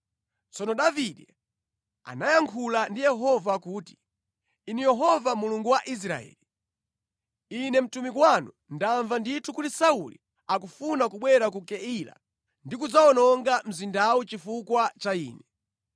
Tsono Davide anayankhula ndi Yehova kuti, “Inu Yehova Mulungu wa Israeli, ine mtumiki wanu ndamva ndithu kuti Sauli akufuna kubwera ku Keila ndi kudzawononga mzindawu chifukwa cha ine.